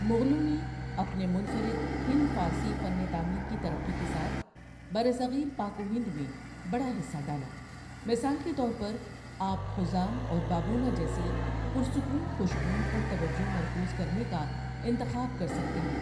مغلوں نے اپنے منفرد ہند فارسی فن تعمیر کی ترقی کے ساتھ برصغیر پاک و ہند میں بڑا حصہ ڈالا مثال کے طور پر، آپ حُزام اور بابونہ جیسی پُر سکون خوشبوؤں پر توجہ مرکوز کرنے کا انتخاب کر سکتے ہیں۔